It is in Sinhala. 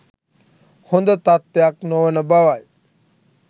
හොඳ තත්ත්වයක් නොවන බවයි.